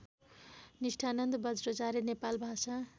Nisthananda Bajracharya Nepal Bhasa